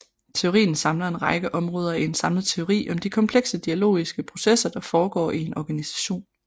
Teorien samler en række områder i en samlet teori om de komplekse dialogiske processer der foregår i en organisation